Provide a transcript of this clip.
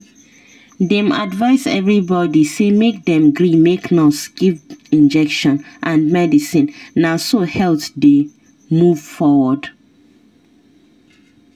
dem advice everybody say make dem gree make nurse give injection and medicine na so health dey move forward.